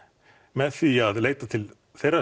með því að leita til þeirra